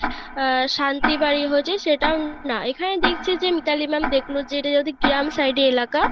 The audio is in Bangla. আহ শান্তি বাড়ি হয়েছে সেটাও না এখানে দেখছি যে মিতালি ma'am দেখলো যে গ্রাম side এলাকা,